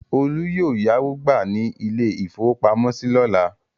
Olú yóò yáwó gbà ní ilé-ìfowópamọ́sí lọ́la.